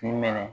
K'i minɛ